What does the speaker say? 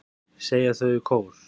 segja þau í kór.